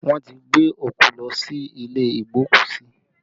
Wọn ti gbé òkú lọ sí ilé igbokusi